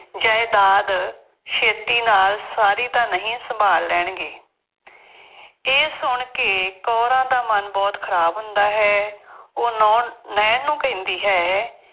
ਜਾਇਦਾਦ ਛੇਤੀ ਨਾਲ ਸਾਰੀ ਤਾਂ ਨਹੀਂ ਸੰਭਾਲ ਲੈਣਗੇ। ਇਹ ਸੁਣ ਕੇ ਕੌਰਾਂ ਦਾ ਮਨ ਬਹੁਤ ਖਰਾਬ ਹੁੰਦਾ ਹੈ। ਉਹ ਨੌ ਅਹ ਨਾਇਣ ਨੂੰ ਕਹਿੰਦੀ ਹੈ,